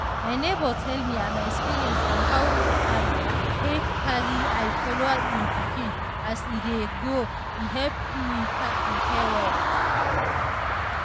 my neighbor tell me am experience on how am take carry eye follow im pikin as e dey grow e help me prepare well.